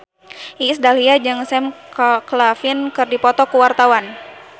Iis Dahlia jeung Sam Claflin keur dipoto ku wartawan